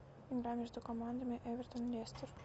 игра между командами эвертон лестер